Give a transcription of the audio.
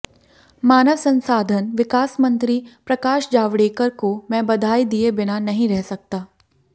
मानव संसाधन विकास मंत्री प्रकाश जावड़ेकर को मैं बधाई दिए बिना नहीं रह सकता